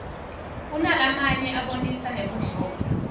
kunalamanye abonisa nebudlova